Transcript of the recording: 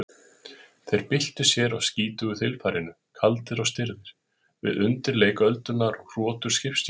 Þeir byltu sér á skítugu þilfarinu, kaldir og stirðir, við undirleik öldunnar og hrotur skipstjórans